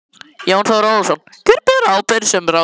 Jón Þór Ólafsson: Hver ber ábyrgð sem ráðherra?